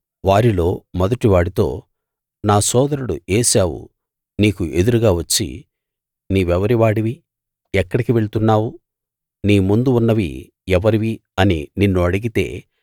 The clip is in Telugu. వారిలో మొదటివాడితో నా సోదరుడు ఏశావు నీకు ఎదురుగా వచ్చి నీవెవరి వాడివి ఎక్కడికి వెళ్తున్నావు నీ ముందు ఉన్నవి ఎవరివి అని నిన్ను అడిగితే